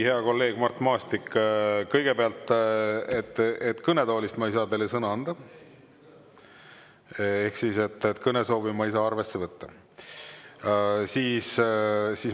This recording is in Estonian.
Hea kolleeg Mart Maastik, kõigepealt, kõnetoolist ma ei saa teile sõna anda ehk siis kõnesoovi ma ei saa arvesse võtta.